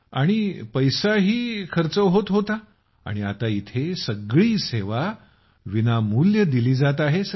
आणि पैसाही खर्च होत होता आणि येथे सारी सेवा विनामूल्य दिल्या जात आहेत